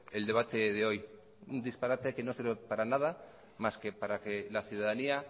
el debate de hoy un disparate que no sirve para nada más que para que la ciudadanía